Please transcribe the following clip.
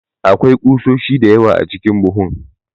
Akwai kusoshi da yawa a cikin buhun.